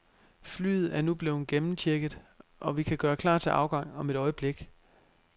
Flyet er nu blevet gennemchecket, og vi kan gøre klar til afgang om et øjeblik.